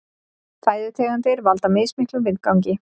Fæðutegundir valda mismiklum vindgangi.